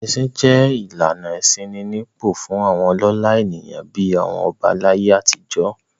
Ẹṣin jẹ́ ìlànà ìṣínípò fún àwọn ọlọ́lá ènìyàn bí i àwọn ọba láyé àtijọ́.